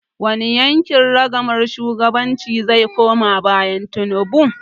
Wani yanki ragamar shugabancin zai koma bayan Tinubu?